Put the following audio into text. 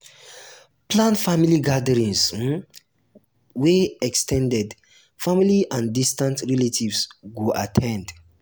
plan family gatherings um wey ex ten ded um family and distant relatives go um at ten d